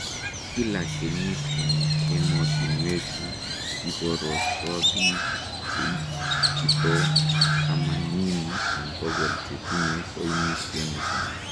Kila kenyit en emotinwechu kiporosto biik cheitito tamanini en bokol chetinye koimutioniton.